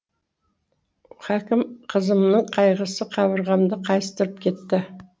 хәкім қызымның қайғысы қабырғамды қайыстырып кетті